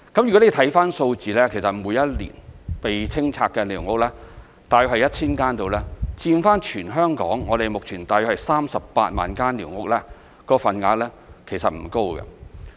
如果看看數字，其實每一年被清拆的寮屋大約是 1,000 間，以全港目前大約38萬間寮屋來說，份額其實不高。